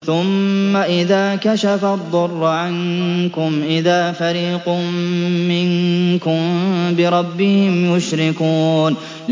ثُمَّ إِذَا كَشَفَ الضُّرَّ عَنكُمْ إِذَا فَرِيقٌ مِّنكُم بِرَبِّهِمْ يُشْرِكُونَ